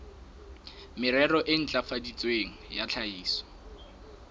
merero e ntlafaditsweng ya tlhahiso